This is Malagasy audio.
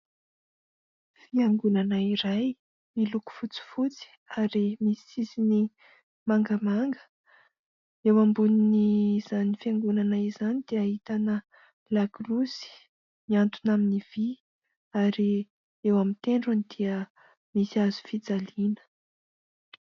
Fiangonana iray miloko fotsifotsy ary misy sisiny mangamanga. Eo ambonin'izany fiangonana izany dia ahitana lakolosy mihantona amin'ny vy ary eo amin'ny tendrony dia misy hazofijaliana.